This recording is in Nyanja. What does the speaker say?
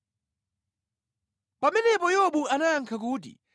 Pamenepo Yobu anayankha kuti,